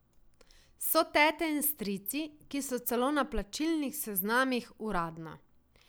So tete in strici, ki so celo na plačilnih seznamih, uradno.